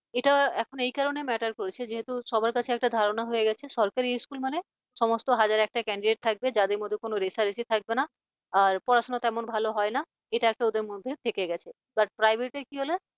এটা এখন এই কারণে matter করছে যেহেতু সবার কাছে একটা ধারণা হয়ে গেছে যে সরকারি school মানে সমস্ত হাজার একটা candidate থাকবে যাদের মধ্যে কোন রেষারেষি থাকবে না আর পড়াশোনা তেমন ভালো হয় না এটা একটা ওদের মধ্যে থেকে গেছে বাট but private কি হল